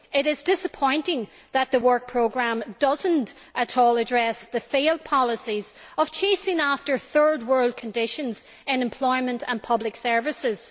It is disappointing that the work programme does not address at all the failed policies of chasing after Third World conditions in employment and public services.